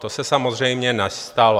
To se samozřejmě nestalo.